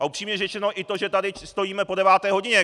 A upřímně řečeno i to, že tady stojíme po deváté hodině!